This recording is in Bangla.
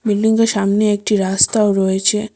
বিল্ডিংগের সামনে একটি রাস্তাও রয়েছে।